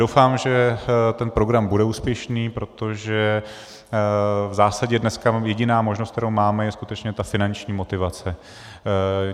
Doufám, že ten program bude úspěšný, protože v zásadě dneska jediná možnost, kterou máme, je skutečně ta finanční motivace.